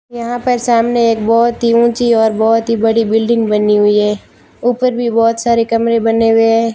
यहां पर सामने एक बहोत ही ऊंची और बहोत ही बड़ी बिल्डिंग बनी हुई है ऊपर भी बहोत सारे कमरे बने हुए हैं।